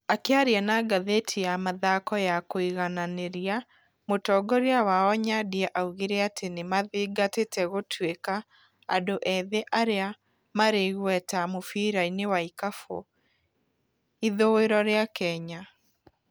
Akĩaria na ngathĩti ya mathako ya kũigananĩria, mũtongoria wao Nyandia, augire atĩ nĩmathingatite gũtuĩka andũ ethĩ arĩa marĩ igueta mũbirainĩ wa ikabũ ithũĩro rĩa Kenya.